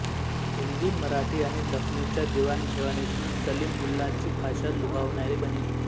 हिंदीमराठी आणि दखनीच्या देवाणघेवाणीतून सलीम मुल्लांची भाषा लुभावणारी बनली